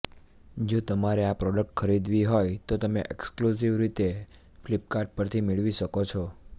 જો તમારે આ પ્રોડક્ટ ખરીદવી હોય તો તમે એક્સક્લુઝિવ રીતે ફ્લિપકાર્ટ પરથી મેળવી શકો છો